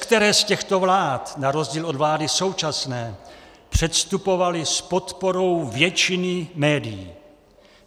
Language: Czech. Leckteré z těchto vlád na rozdíl od vlády současné předstupovaly s podporou většiny médií.